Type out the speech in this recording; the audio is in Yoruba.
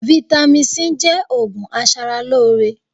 Vitamin C jẹ́ òògùn aṣaralóore